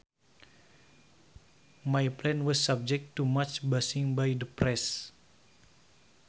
My plan was subject to much bashing by the press